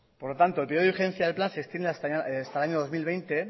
por lo tanto el periodo de vigencia del plan se extiende hasta el año dos mil veinte